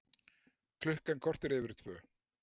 Klukkan korter yfir tvö